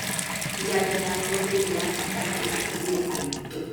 janjo ya polio nĩ ya bata harĩ atumia aritũ.